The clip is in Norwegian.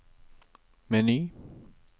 meny